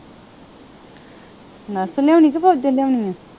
Nurse ਲਿਆਉਣੀ ਕੇ ਫੌਜਣ ਲਿਆਉਣੀ ਆ।